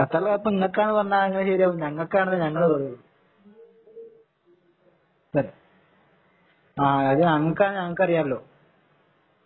ഖത്തറിലെ കപ്പ് ഇങ്ങൾക്കാണ് എന്ന് പറഞ്ഞാല് എങ്ങനെയാ ശരിയാവാ ഞങ്ങൾക്കാണെന്നാ ഞങ്ങള് പറയുള്ളൂ അത് ഞങ്ങൾക്കാണെന്ന് ഞങ്ങൾകറിയാലോ